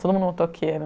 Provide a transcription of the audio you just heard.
Todo mundo motoqueiro.